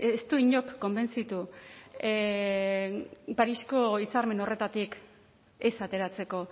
ez du inork konbentzitu parisko hitzarmen horretatik ez ateratzeko